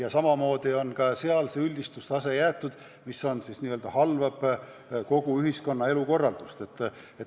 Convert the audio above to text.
On jäetud sama üldistustase, et teenuse puudumine halvab kogu ühiskonna elukorralduse.